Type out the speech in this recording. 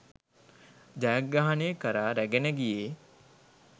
ජයග්‍රහණය කරා රැගෙන ගියේ